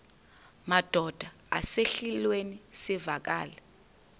madod asesihialweni sivaqal